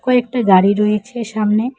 ও একটি গাড়ি রয়েছে সামনে।